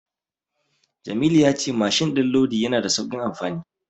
Jamilu ya ce mashin din lodi yana da saukin amfani.